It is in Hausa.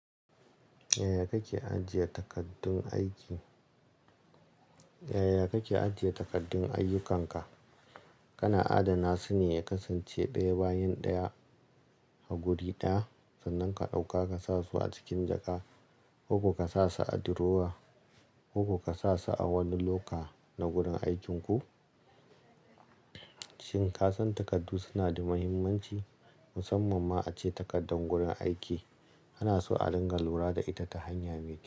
Yaya kake ajiye takaddun aiki? Yaya kake ajiye takaddun ayyukanka? Kana adana su ne ya kasance daya bayan ɗaya a guri ɗaya, sannan ka ɗauka ka sa su a cikin jaka, ko ko ka sa su a durowa, ko ko ka sa su a wani loka na gurin aikinku? Shin ka san takardu suna da muhimmanci, musamman ma ace takardan gurin aiki? Ana so a dinga lura da ita ta hanya me kyau.